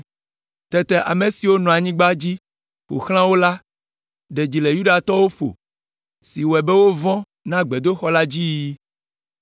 Tete ame siwo nɔ anyigba dzi ƒo xlã wo la ɖe dzi le Yudatɔwo ƒo si wɔe be wovɔ̃ na gbedoxɔ la dzi yiyi.